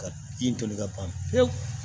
Ka bin toli ka ban pewu